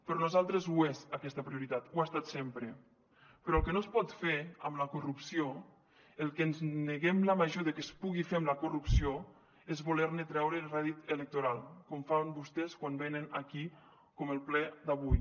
per nosaltres ho és aquesta prioritat ho ha estat sempre però el que no es pot fer amb la corrupció el que ens neguem la major de que es pugui fer amb la corrupció és volerne treure rèdit electoral com fan vostès quan venen aquí com el ple d’avui